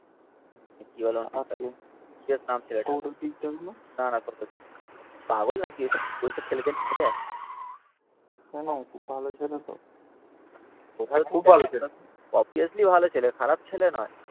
কি বলে ওর নাম টা পাগল নাকি ওইসব ওইসব ছেলেদের নিয়ে যাই কেন খুব ভালো ছেলে তো অভিয়াসলি ভালো ছেলে খারাপ ছেলে নয়